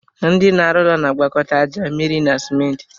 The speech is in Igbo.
Ndị na arụ ụlọ na agwakọta aja, mmịrị na simenti